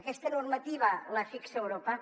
aquesta normativa la fixa europa